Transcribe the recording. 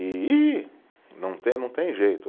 E, e não tem, não tem jeito.